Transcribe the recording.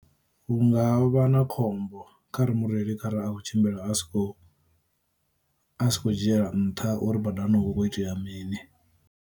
Hu nga vha na khombo khare mureili kharali a kho tshimbila a sikho a si kho dzhiela nṱha uri badani hu vha hu khou itea mini.